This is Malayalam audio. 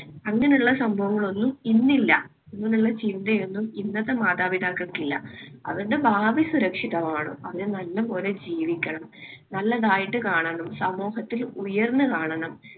അങ്ങനെയുള്ള സംഭവങ്ങൾ ഒന്നും ഇന്നില്ല. അങ്ങനെയുള്ള ചിന്തയൊന്നും ഇന്നത്തെ മാതാപിതാക്കൾക്ക് ഇല്ല. അവരുടെ ഭാവി സുരക്ഷിതമാവണം. അവര് നല്ലപോലെ ജീവിക്കണം. നല്ലതായിട്ട് കാണണം സമൂഹത്തിൽ ഉയർന്നു കാണണം.